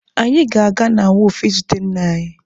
Anyị ga-aga na wọọfụ izute nna anyị.